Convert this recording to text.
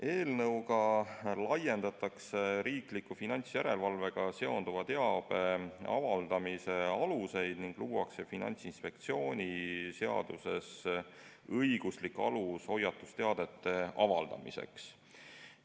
Eelnõu kohaselt laiendatakse riikliku finantsjärelevalvega seonduva teabe avaldamise aluseid ning luuakse Finantsinspektsiooni seaduses õiguslik alus hoiatusteadete avaldamiseks.